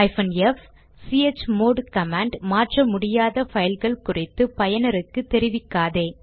f160 chmod command மாற்ற முடியாத பைல்கள் குறித்து பயனருக்கு தெரிவிக்காதே